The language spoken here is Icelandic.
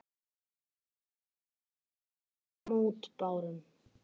Ég hreyfði engum mótbárum.